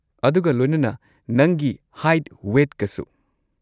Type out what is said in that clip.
ꯑꯗꯨꯒ ꯂꯣꯏꯅꯅ ꯅꯪꯒꯤ ꯍꯥꯢꯠ ꯋꯦꯠꯀꯁꯨ꯫